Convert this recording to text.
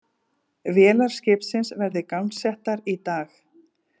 Vélar skipsins verði gangsettar í dag